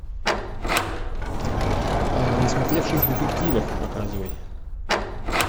насмотревшись детективов показывай